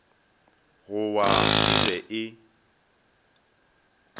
go wa e be e